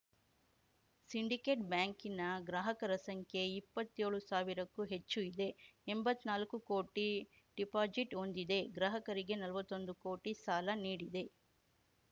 syndicate ಬ್ಯಾಂಕಿನ ಗ್ರಾಹಕರ ಸಂಖ್ಯೆ ಇಪ್ಪತ್ಯೋಳು ಸಾವಿರಕ್ಕೂ ಹೆಚ್ಚು ಇದೆ ಎಂಬತ್ನಾಲ್ಕು ಕೋಟಿ ಡಿಪಾಜಿಟ್‌ ಹೊಂದಿದೆ ಗ್ರಾಹಕರಿಗೆ ನಲ್ವತ್ತೊಂದು ಕೋಟಿ ಸಾಲ ನೀಡಿದೆ